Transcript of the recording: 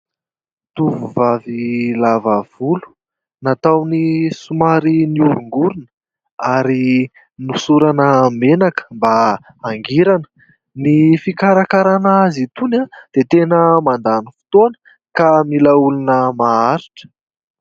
Tovovavy lava volo nataony somary nioringorina ary nosorana menaka mba hangirana. Ny fikarakarahana azy itony dia tena mandany fotoana ka mila olona maharitra.